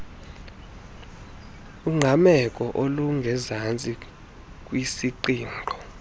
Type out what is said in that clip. ungqameko olungezantsi kwisiqingqo